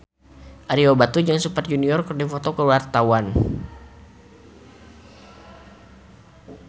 Ario Batu jeung Super Junior keur dipoto ku wartawan